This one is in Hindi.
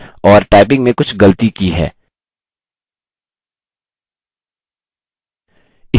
क्यों ऐसा इसलिए क्योंकि हमने गलत टाइप किया है या typing में कुछ गलती की है